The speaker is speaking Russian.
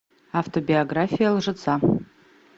автобиография лжеца